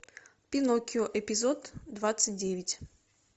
пиноккио эпизод двадцать девять